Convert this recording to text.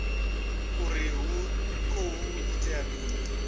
uri hu khou itea mini